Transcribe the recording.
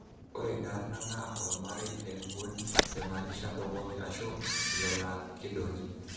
Ore inarna naa olomarei le Nguni loimanisha''ndongoki''ashu ilo laa keidongi.